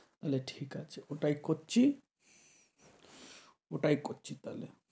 তাহলে ঠিক আছে ওটাই করছি, ওটাই করছি তাহলে।